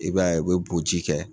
I b'a ye o bɛ boji kɛ.